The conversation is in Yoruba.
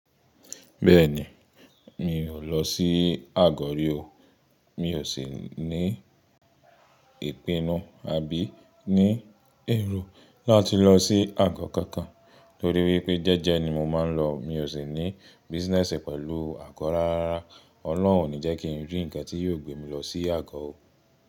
Bẹ́ẹ̀ni, mi ò lọ sí Àgọ̀ rí o. Mi ò sì ní ìpinnu àbí ní èrò láti lọ sí àgọ́ kankan torí wípé jẹ́jẹ́ ni mo máa ń lọ. Mi ò sì ní business pẹ̀lú àgọ́ rárá. Ọlọ́run ò ní jẹ́ kí n rí ǹkan tí yóò gbé mi lọ sí àgọ́ o.